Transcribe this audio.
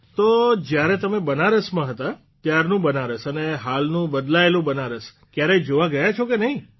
તો જયારે તમે બનારસમાં હતા ત્યારનું બનારસ અને હાલનું બદલાયેલું બનારસ કયારેય જોવા ગયા કે નહિં